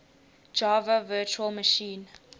java virtual machine